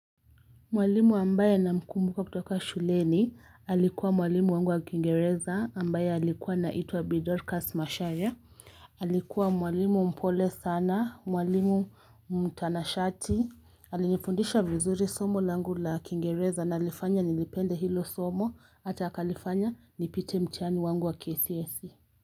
Mwalimu ambaye namkumbuka kutoka shuleni alikuwa mwalimu wangu wa kiingereza ambaye alikuwa anaitwa bi Dorcas Macharia alikuwa mwalimu mpole sana mwalimu mtanashati alinifundisha vizuri somo langu la kingereza na alifanya nilipende hilo somo ata akanifanya nipite mtiani wangu wa kcse.